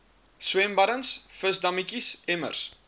swembaddens visdammetjies emmers